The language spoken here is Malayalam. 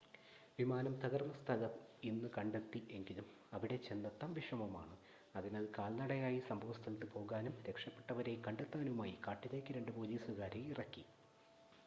വിമാനം തകർന്ന സ്ഥലം ഇന്ന് കണ്ടെത്തി എങ്കിലും അവിടെ ചെന്നെത്താൻ വിഷമമാണ് അതിനാൽ കാൽനടയായി സംഭവസ്ഥലത്ത് പോകാനും രക്ഷപ്പെട്ടവരെ കണ്ടെത്താനുമായി കാട്ടിലേക്ക് രണ്ട് പോലീസുകാരെ ഇറക്കി